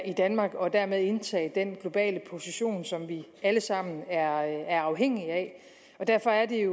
i danmark og dermed indtage den globale position som vi alle sammen er er afhængige af og derfor er det